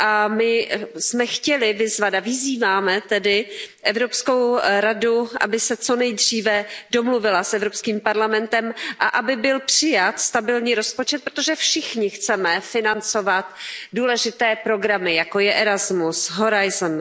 My jsme chtěli vyzvat a vyzýváme tedy Evropskou radu, aby se co nejdříve domluvila s Evropským parlamentem a aby byl přijat stabilní rozpočet, protože všichni chceme financovat důležité programy, jako je Erasmus, Horizon.